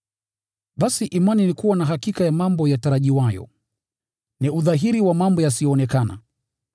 Basi imani ni kuwa na hakika ya mambo yatarajiwayo, na udhahiri wa mambo yasiyoonekana.